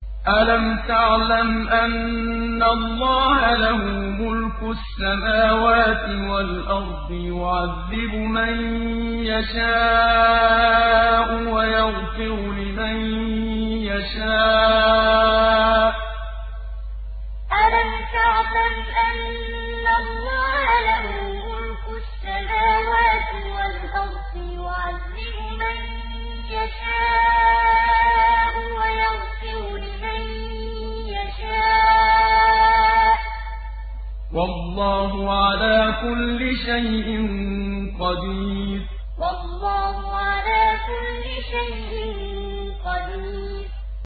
أَلَمْ تَعْلَمْ أَنَّ اللَّهَ لَهُ مُلْكُ السَّمَاوَاتِ وَالْأَرْضِ يُعَذِّبُ مَن يَشَاءُ وَيَغْفِرُ لِمَن يَشَاءُ ۗ وَاللَّهُ عَلَىٰ كُلِّ شَيْءٍ قَدِيرٌ أَلَمْ تَعْلَمْ أَنَّ اللَّهَ لَهُ مُلْكُ السَّمَاوَاتِ وَالْأَرْضِ يُعَذِّبُ مَن يَشَاءُ وَيَغْفِرُ لِمَن يَشَاءُ ۗ وَاللَّهُ عَلَىٰ كُلِّ شَيْءٍ قَدِيرٌ